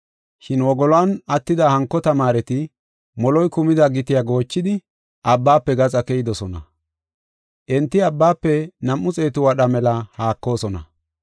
Shin wogoluwan attida hanko tamaareti moloy kumida gitiya goochidi, abbaafe gaxa keyidosona. Enti abbaafe nam7u xeetu wadha mela haakoosona.